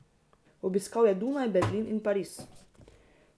Obiskal je Dunaj, Berlin in Pariz.